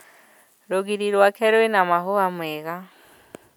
Rũgiri rwake rwĩna mahũa mega